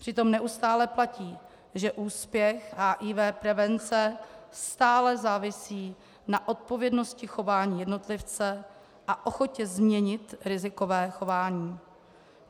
Přitom neustále platí, že úspěch HIV prevence stále závisí na odpovědnosti chování jednotlivce a ochotě změnit rizikové chování.